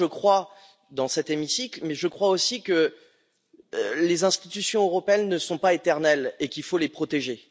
Je crois dans cet hémicycle, mais je crois aussi que les institutions européennes ne sont pas éternelles et qu'il faut les protéger.